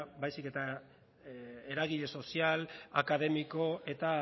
baizik eta eragile sozial akademiko eta